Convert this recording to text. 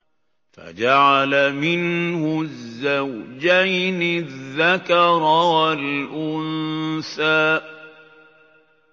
فَجَعَلَ مِنْهُ الزَّوْجَيْنِ الذَّكَرَ وَالْأُنثَىٰ